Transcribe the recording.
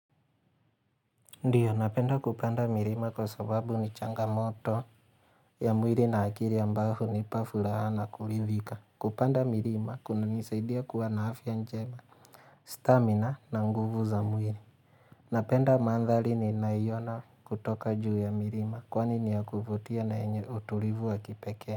Ndiyo, napenda kupanda mirima kwa sababu ni changamoto ya mwiri na akiri ambao hunipa furaha na kuridhika. Kupanda mirima, kuna nisaidia kuwa naafya njema, stamina na nguvu za mwiri. Napenda mandhari ni nayoiona kutoka juu ya mirima, kwani ni ya kuvutia na yenye utulivu wa kipekee.